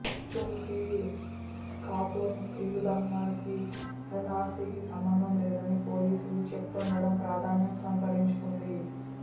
చుమ్కి ఖాతున్ ఇల్లు దహనానికి ఎన్ఆర్సీకి సంబంధం లేదని పోలీసులు చెప్తుండటం ప్రాధాన్యం సంతరించుకుంది